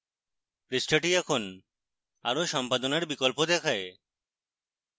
পৃষ্ঠাটি এখন আরো সম্পাদনার বিকল্প দেখায়